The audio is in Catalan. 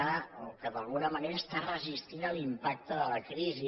o que d’alguna manera està resistint l’impacte de la crisi